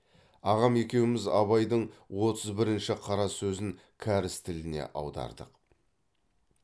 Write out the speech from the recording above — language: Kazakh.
ағам екеуміз абайдың отыз бірінші қара сөзін кәріс тіліне аудардық